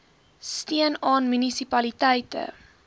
steun aan munisipaliteite